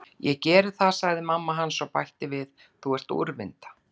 Ég geri það, sagði mamma hans og bætti við: Þú ert úrvinda.